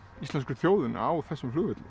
íslensku þjóðinni á þessum flugvelli